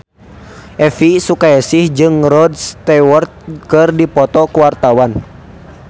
Elvy Sukaesih jeung Rod Stewart keur dipoto ku wartawan